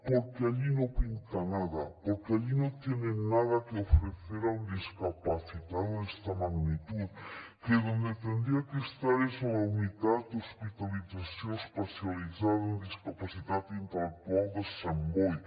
porque allí no pinta nada porque allí no tienen nada que ofrecer a un discapacitado de esta magnitud que donde tendría que estar es a la unitat d’hospitalització especialitzada en discapacitat intel·lectual de sant boi